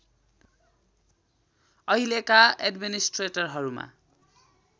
अहिलेका एड्मिनिस्ट्रेट‍रहरूमा